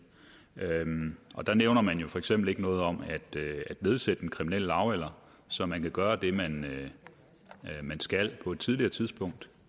der nævner man jo for eksempel ikke noget om at nedsætte den kriminelle lavalder så man kan gøre det man det man skal på et tidligere tidspunkt